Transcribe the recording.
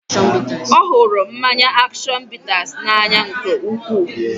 Ọ hụrụ mmanya action bitters n'anya nke ukwuu